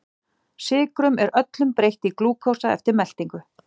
Sykrum er öllum breytt í glúkósa eftir meltingu.